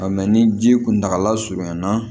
ni ji kuntagala surunyana